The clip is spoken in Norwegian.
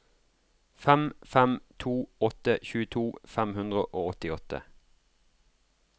fem fem to åtte tjueto fem hundre og åttiåtte